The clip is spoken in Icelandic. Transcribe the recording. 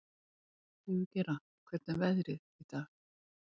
Sigurgeira, hvernig er veðrið í dag?